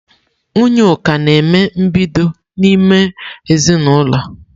Nwunye Uka na-eme mbido n'ime ezinaụlọ.